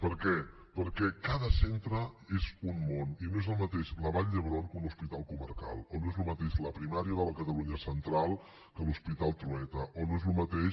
per què perquè cada centre és un món i no és el mateix la vall d’hebron que un hospital comarcal o no és el mateix la primària de la catalunya central que l’hospital trueta o no és el mateix